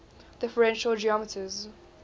differential geometers